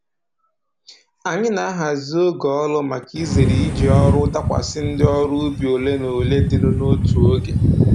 Anyị na-ahazi oge ọrụ maka izere iji ọrụ dakwasị ndị ọrụ ubi ole na ole dịnụ n'otu oge